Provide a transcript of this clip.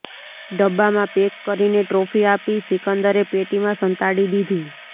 ડબ્બામાં પેક કરીને ટ્રોફી આપી સિકંદરે પેટીમાં સંતાડી દીધી